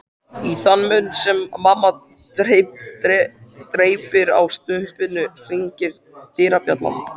Í þann mund sem mamma dreypir á staupinu hringir dyrabjallan.